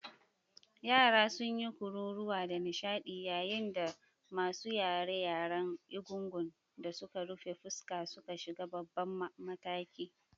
Yara sun yi kururuwa da nishadi yayin da masu raye-rayen Egungun da suka rufe fuska suka shiga babban mataki.